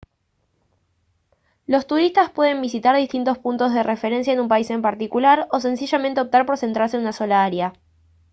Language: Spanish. los turistas pueden visitar distintos puntos de referencia en un país en particular o sencillamente optar por centrarse en una sola área